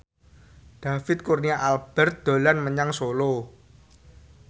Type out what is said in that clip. David Kurnia Albert dolan menyang Solo